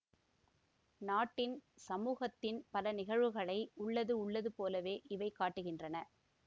நாட்டின்சமூகத்தின் பல நிகழ்வுகளை உள்ளது உள்ளது போலவே இவை காட்டுகின்றன